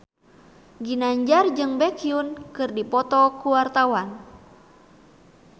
Ginanjar jeung Baekhyun keur dipoto ku wartawan